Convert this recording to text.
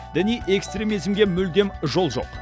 діни экстремизмге мүлдем жол жоқ